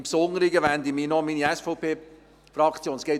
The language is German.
Im Besonderen wende ich mich noch an meine SVP-Fraktion.